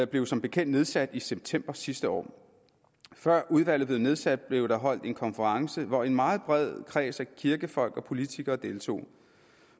blev som bekendt nedsat i september sidste år før udvalget blev nedsat blev der holdt en konference hvor en meget bred kreds af kirkefolk og politikere deltog